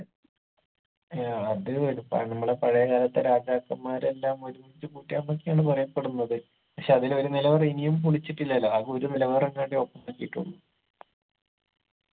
ഏർ അത് എട്പ്പാണ് നമ്മളെ പഴയ കാലത്തെ രാജാക്കന്മാരെല്ലാം ഒരുമിച്ച് കൂട്ടിയാന്നൊക്കെയാണ് പറയപ്പെടുന്നത് പക്ഷെ അതിലൊരു നിലവറ ഇനിയും മുടിച്ചിട്ടില്ലല്ല ആക ഒരു നിലവറ എങ്ങാണ്ട open ആക്കിയിട്ടുള്ളു